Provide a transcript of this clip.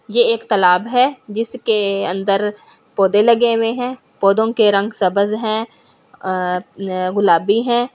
ये एक तालाब है जिसके अंदर पौधे लगे हुए हैं पौधों के रंग सब्ज हैं अह गुलाबी हैं।